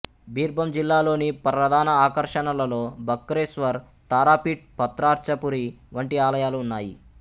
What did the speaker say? బిర్బం జిల్లాలోని ప్రధాన ఆకర్షణలలో బక్రేశ్వర్ తారాపీఠ్ పత్రార్చపురి వంటి ఆలయాలు ఉన్నాయి